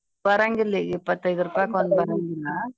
ಬರಂಗಿಲ್ಲ ಈಗ್ ಇಪ್ಪತೈದ ರೂಪಾಯಿಕ್ ಒಂದ್ ಬರಂಗಿಲ್ಲಾ.